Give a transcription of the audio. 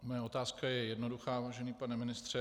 Moje otázka je jednoduchá, vážený pane ministře.